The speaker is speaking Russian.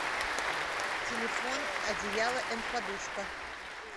телефон одеяло энд подушка